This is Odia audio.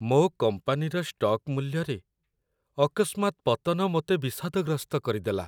ମୋ କମ୍ପାନୀର ଷ୍ଟକ୍ ମୂଲ୍ୟରେ ଅକସ୍ମାତ୍ ପତନ ମୋତେ ବିଷାଦଗ୍ରସ୍ତ କରିଦେଲା।